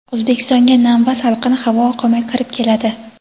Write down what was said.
O‘zbekistonga nam va salqin havo oqimi kirib keladi.